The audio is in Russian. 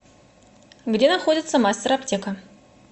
где находится мастер аптека